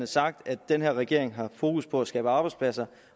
sagt at den her regering har fokus på at skabe arbejdspladser